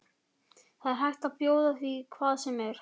Það er hægt að bjóða því hvað sem er.